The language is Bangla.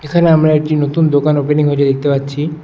এখানে আমরা একটি নতুন দোকান ওপেনিং হয়েছে দেখতে পাচ্ছি।